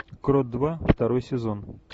крот два второй сезон